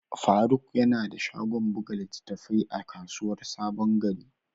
Faruk yana da shagon buga littattafai a kasuwar sabon gari.